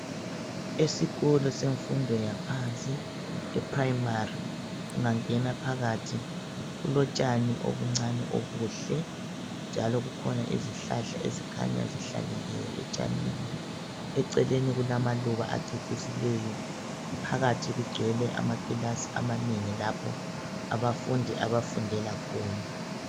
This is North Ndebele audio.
Esikolo semfundo yaphansi eprimary ungangena phakathi kulotshani obuncane obuhle njalo kukhona izihlahla ezikhanya zihlanyeliwe etshanini eceleni kulama luba acecisileyo phakathi kugcwele amakilasi amanengi lapho abafundi abafundela khona